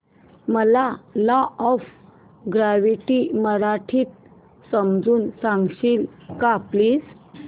मला law of gravity मराठीत समजून सांगशील का प्लीज